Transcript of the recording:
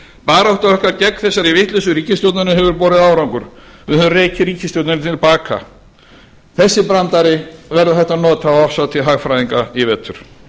barátta okkar gegn þessari vitleysu ríkisstjórnarinnar hefur borið árangur við höfum rekið ríkisstjórnina til baka þennan brandara verður hægt að nota á árshátíð hagfræðinga i vetur